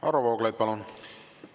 Varro Vooglaid, palun!